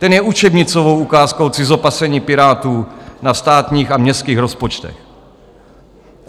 Ten je učebnicovou ukázkou cizopasení Pirátů na státních a městských rozpočtech.